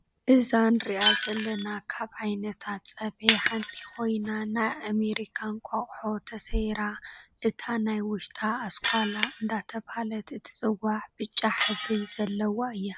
እዛ እነሪኣ ዘለና ካብ ዓይነታት ፀብሒ ሓንቲ ኮይና ናይ ኤመርካ እቋቆሖ ተሰቢራ እታ ናይ ውሽታ ኣስኳል እንዳተባሀለት እትፅዋዕ ብፃ ሕብሪ ዘለዋ እያ።